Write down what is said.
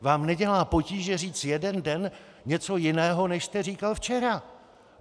Vám nedělá potíže říct jeden den něco jiného než jste říkal včera.